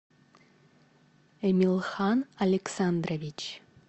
эмилхан александрович